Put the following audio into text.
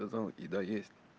ну там еда есть